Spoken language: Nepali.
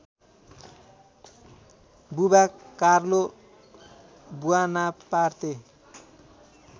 Buwa Carlo Buonaparte